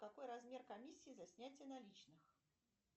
какой размер комиссии за снятие наличных